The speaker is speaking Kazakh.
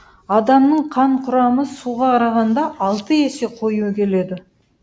адамның қан құрамы суға қарағанда алты есе қою келеді